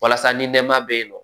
Walasa ni nɛma bɛ yen nɔ